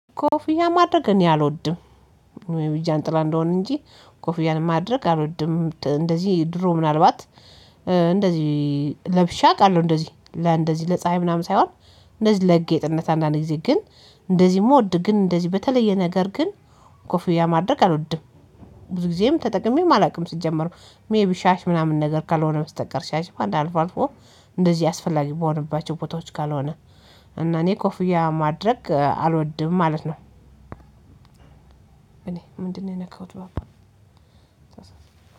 ኮፍያ ማድረግ እኔ አልወድም። ወይም ጃንጥላ እንደሆነ እንጂ ኮፍያን ማድረግ አልወድም እንደዚህ ድሮ ምናልባት እንደዚህ ለብሼ አውቃለሁ እንደዚህ ለእንደዚህ ለፀሀይ ምናምን ሳይሆን። እንደዚህ ለጌጥነት አንዳንዴ ግዜ ግን እንደዚህ መውደድ ግን እንደዚህ በተለየ ነገር ግን ኮፍያ ማድረግ አልወድም። ብዙ ጊዜም ተጠቅሜም አላውቅም ሲጀመር ሜይቢ ሻሽ ምናምን ነገር ካልሆነ በስተቀር ሻሽ አንድ አልፎ አልፎ እንደዚህ አስፈላጊ በሆነባቸው ቦታዎች ካልሆነ እና እኔ ኮፍያ ማድረግ አልወድም ማለት ነው። እኔ ምንድነው የነካሁት ባባ